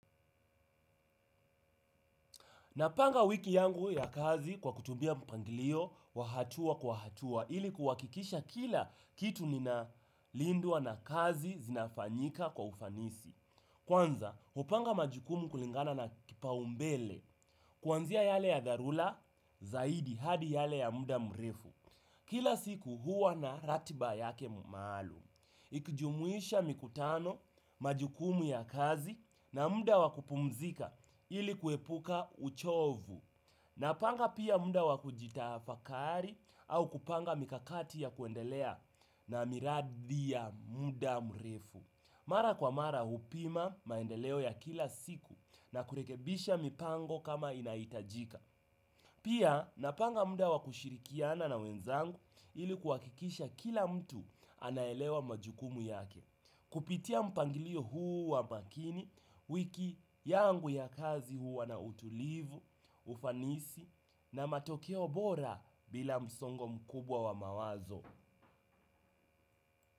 Napanga wiki yangu ya kazi kwa kutumia mpangilio wa hatua kwa hatua ili kuakikisha kila kitu ninalindwa na kazi zinafanyika kwa ufanisi. Kwanza, hupanga majukumu kulingana na kipaumbele kuanzia yale ya dharula zaidi hadi yale ya muda mrefu. Kila siku huwa na ratiba yake maalum. Ikijumuisha mikutano, majukumu ya kazi na muda wa kupumzika ili kuepuka uchovu. Napanga pia muda wa kujitafakari au kupanga mikakati ya kuendelea na miradi ya muda mrefu. Mara kwa mara upima maendeleo ya kila siku na kurekebisha mipango kama inaitajika. Pia napanga muda wa kushirikiana na wenzangu ili kuakikisha kila mtu anaelewa majukumu yake, kupitia mpangilio huu wa makini, wiki yangu ya kazi huwa na utulivu, ufanisi na matokeo bora bila msongo mkubwa wa mawazo.